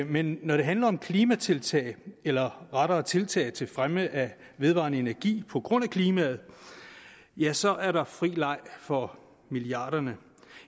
men når det handler om klimatiltag eller rettere tiltag til fremme af vedvarende energi på grund af klimaet ja så er der fri leg for milliarderne